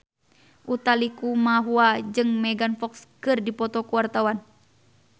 Utha Likumahua jeung Megan Fox keur dipoto ku wartawan